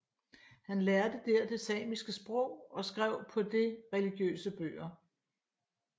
Han lærte der det samiske sprog og skrev på det religiøse bøger